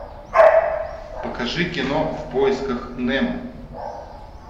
покажи кино в поисках немо